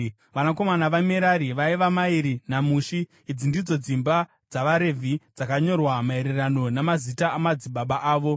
Vanakomana vaMerari vaiva: Mairi naMushi. Idzi ndidzo dzimba dzavaRevhi dzakanyorwa maererano namazita amadzibaba avo: